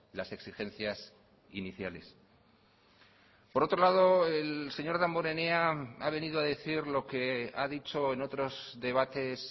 las exigencias iniciales por otro lado el señor damborenea ha venido a decir lo que ha dicho en otros debates